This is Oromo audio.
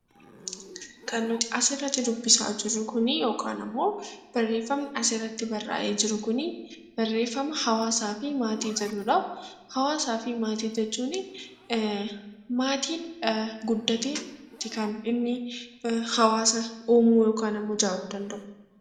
Hawaasaa fi maatii jechuun maatiin guddateeti kan inni hawaasa uumuu danda'u.